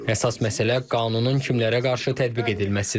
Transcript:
Əsas məsələ qanunun kimlərə qarşı tətbiq edilməsidir.